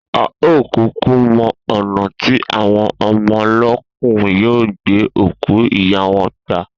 A ò kúkú mo̩ ò̩nà tí àwon o̩mo̩lóòkú yóò gbé òkú ìyá wo̩n gbà